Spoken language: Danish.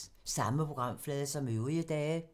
Samme programflade som øvrige dage